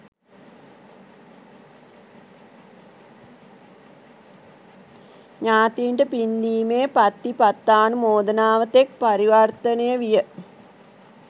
ඥාතීන්ට පින්දීමේ පත්ති පත්තානුමෝදනාව තෙක් පරිවර්තනය විය.